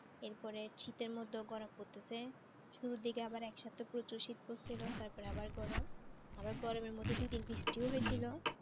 এরপরে শীতের মধ্যেও গরম পড়তেছে শুরুর দিকে আবার এক সপ্তাহ প্রচুর শীত পড়ছিল তারপরে আবার গরম আবার গরমের মধ্যে দুই দিন বৃষ্টি ও হয়েছিল।